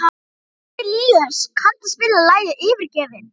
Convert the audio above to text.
Arilíus, kanntu að spila lagið „Yfirgefinn“?